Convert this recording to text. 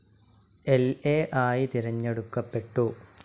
ൽ എ ആയി തിരഞ്ഞെടുക്കപ്പെട്ടു.